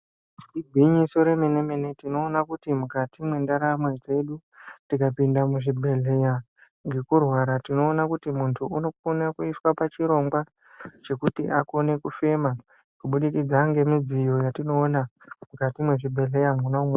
Iginyiso remene-mene tinoona kuti mukati mendaramo dzedu, tikapinda muzvibhedhlera ngekurwara tinoona kuti muntu unokone kuisa pachirongwa chekuti akone kufema, kubidikidza ngemidziyo yatinoona mukati mezvibhedhleya mwona-momwo.